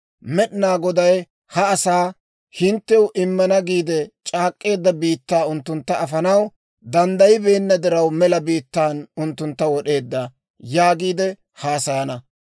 Med'inaa Goday ha asaa, ‹Hinttew immana giide c'aak'k'eedda biittaa unttuntta afanaw danddayibeenna diraw, mela biittaan unttuntta wod'eedda› yaagiide haasayana.